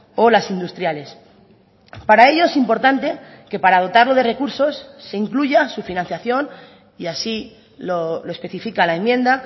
o las industriales para ello es importante que para dotarlo de recursos se incluya su financiación y así lo especifica la enmienda